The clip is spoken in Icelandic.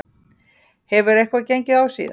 Hefur eitthvað gengið á síðan?